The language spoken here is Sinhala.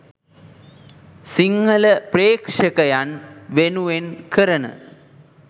සිංහල ප්‍රේක්ෂකයන් වෙනුවෙන් කරන